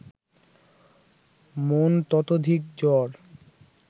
মন ততোধিক জড়